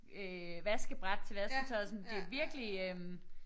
Øh vaskebræt til vasketøjet sådan det virkelig øh